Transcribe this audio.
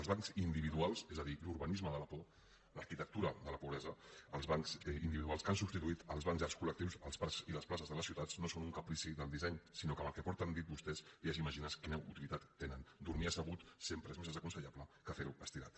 els bancs individuals és a dir l’urbanisme de la por l’arquitectura de la pobresa els bancs individuals que han substituït els bancs llargs col·lectius als parcs i les places de les ciutats no són un caprici del disseny sinó que amb el que porten dit vostès ja s’imaginen quina utilitat tenen dormir assegut sempre és més desaconsellable que fer ho estirat